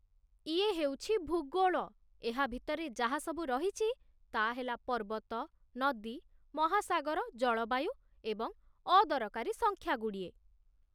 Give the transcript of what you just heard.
ଇଏ ହେଉଛି ଭୂଗୋଳ! ଏହା ଭିତରେ ଯାହାସବୁ ରହିଛି ତା'ହେଲା ପର୍ବତ, ନଦୀ, ମହାସାଗର, ଜଳବାୟୁ ଏବଂ ଅଦରକାରୀ ସଂଖ୍ୟାଗୁଡ଼ିଏ